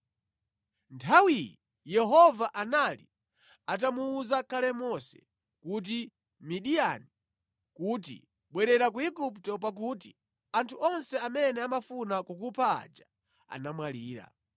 Nthawiyi Yehova anali atamuwuza kale Mose ku Midiyani kuti, “Bwerera ku Igupto, pakuti anthu onse amene amafuna kukupha aja anamwalira.”